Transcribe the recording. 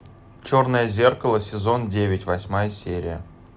черное зеркало сезон девять восьмая серия